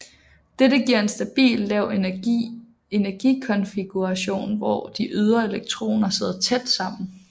Dette giver en stabil lav energi konfiguration hvor de ydre elektroner sidder tæt sammen